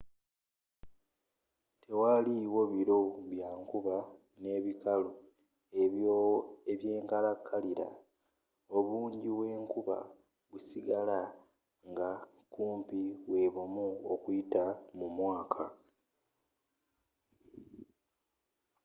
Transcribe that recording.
tewali wo biro bya nkuba” n'ebikalu” eby'enkalakalira: obungi bw'enkuba busigala nga kumpi bwebumu okuyita mu mwaka